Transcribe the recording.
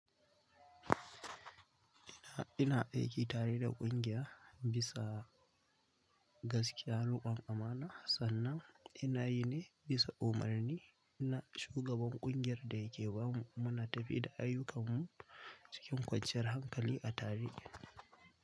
Ina, ina aiki tare da ƙungiya bisa gaskiya, riƙon amana. Sannan ina yi ne bisa umarni na shugaban ƙungiyar da yake bamu. Muna tafiya da ayyukansu cikin kwanciyar hankali a tare.